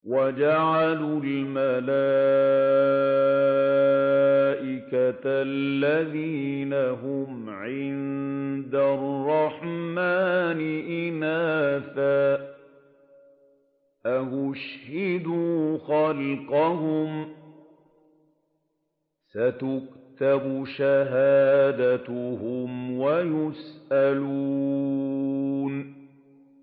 وَجَعَلُوا الْمَلَائِكَةَ الَّذِينَ هُمْ عِبَادُ الرَّحْمَٰنِ إِنَاثًا ۚ أَشَهِدُوا خَلْقَهُمْ ۚ سَتُكْتَبُ شَهَادَتُهُمْ وَيُسْأَلُونَ